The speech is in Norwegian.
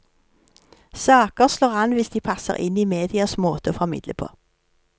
Saker slår an hvis de passer inn i medias måte å formidle på.